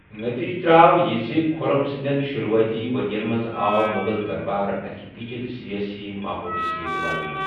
نٔتیٖجہٕ درٛاو یہِ زِ خُرم سٕنٛدیٚن شُروٗعٲتی ؤرِین منٛز آو مُغل دربار اَکہِ پیچیدٕ سِیٲسی ماحولہٕ سۭتۍ ولنہٕ۔